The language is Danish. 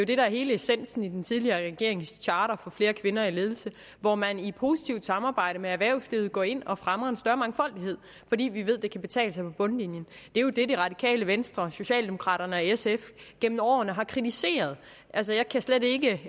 det der er hele essensen i den tidligere regerings charter for flere kvinder i ledelse hvor man i positivt samarbejde med erhvervslivet går ind og fremmer en større mangfoldighed fordi vi ved det kan betale sig på bundlinjen det er jo det det radikale venstre socialdemokraterne og sf gennem årene har kritiseret jeg kan slet ikke